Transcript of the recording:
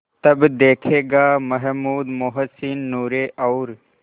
तब देखेगा महमूद मोहसिन नूरे और